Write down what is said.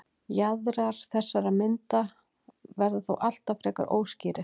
jaðrar þessarar myndar verða þó alltaf frekar óskýrir